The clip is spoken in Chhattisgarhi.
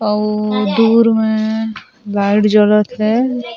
अउ दूर में लाइट जलत हे।